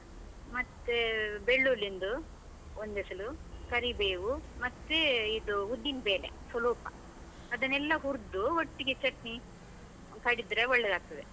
ಮತ್ತೇ, ಬೆಳ್ಳುಳ್ಳಿ ಒಂದು, ಒಂದೆಸಲು, ಕರಿಬೇವು, ಮತ್ತೇ ಇದು ಉದ್ದಿನ್ಬೇಲೆ ಸೊಲುಪ, ಅದನ್ನೆಲ್ಲಾ ಹುರ್ದು ಒಟ್ಟಿಗೆ ಚಟ್ನಿ ಕಡಿದ್ರೆ ಒಳ್ಳೇದಾಗುತ್ತದೆ.